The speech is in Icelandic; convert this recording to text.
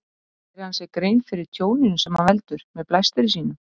Gerir hann sér grein fyrir tjóninu sem hann veldur með blæstri sínum?